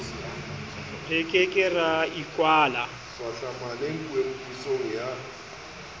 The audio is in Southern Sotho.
re ke ke ra ikwala